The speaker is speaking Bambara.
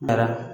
Daraka